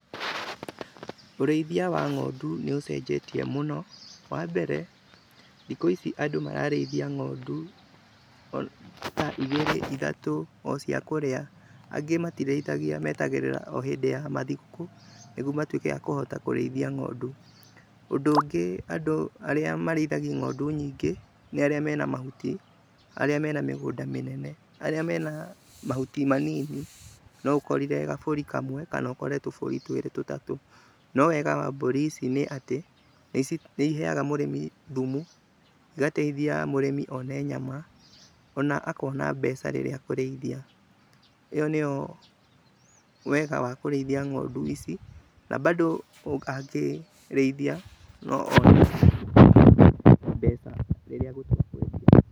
Ũrĩithia wa ng'ondu nĩ ũcenjetie mũno, wa mbere, thikũ ici andũ mararĩithia ngondu ota igiri, ithatũ ocia kũrĩa angĩ matirĩithagia, metagĩrĩra o hĩndĩ ya githũkũ nĩgetha matũĩke a kũrĩithia ng'ondu. Ũndũ ũngĩ andũ arĩa marĩithagi ng'ondu nyingĩ , nĩ arĩa mena mahuti , arĩa mena mĩgũnda mĩnene, arĩa mena mahuti manini no ũkorire gaburi kamwe, kana ũkore tũburi twĩrĩ tũtatũ, no wega wa mburi ici nĩ atĩ nĩ iheaga mũrĩmi thũmũ, igateithia mũrĩmi one nyama, ona akona mbeca rĩrĩa akũrĩithia, ĩyo nĩyo wega wa kũrĩithia ngondu ici na bado angĩrĩithia.